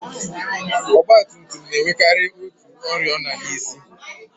Ọgbatumtum na-enwekari otu oriọna n'isi.